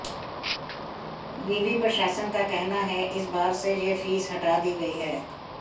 विवि प्रशासन का कहना है इस बार से यह फीस हटा दी गई है